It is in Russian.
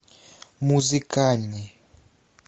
музыкальный